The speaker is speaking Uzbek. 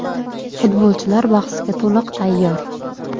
Futbolchilar bahsga to‘liq tayyor.